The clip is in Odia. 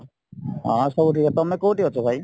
ହଁ ସବୁ ଠିକ ତମେ କୋଉଠି ଅଛ ଭାଇ?